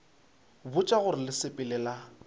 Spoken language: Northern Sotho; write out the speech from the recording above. botša gore le sepela le